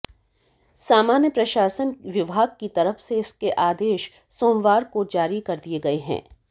सामान्य प्रशासन विभाग की तरफ से इसके आदेश सोमवार को जारी कर दिए गए हैं